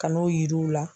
Ka n'o yir'u la